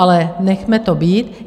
Ale nechme to být.